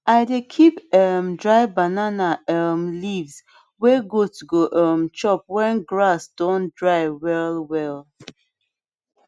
i dey keep um dry banana um leaves way goat go um chop when grass don dry well well